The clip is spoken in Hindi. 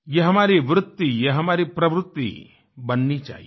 ये हमारी वृत्ति ये हमारी प्रवृत्ति बननी चाहिये